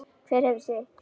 Hver hefur sitt.